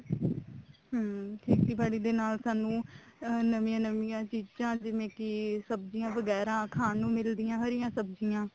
ਹਮ ਖੇਤੀਬਾੜੀ ਦੇ ਸਾਨੂੰ ਨਵੀਆਂ ਨਵੀਆਂ ਚੀਜ਼ਾਂ ਜਿਵੇਂ ਕੀ ਸਬਜੀਆਂ ਵਗੈਰਾ ਖਾਣ ਨੂੰ ਮਿਲਦੀਆਂ ਹਰੀਆਂ ਸਬਜੀਆਂ